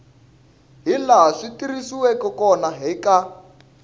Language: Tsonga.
hilaha swi tirhisiweke hakona eka